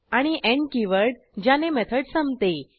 आणि end keyword ज्याने method संपते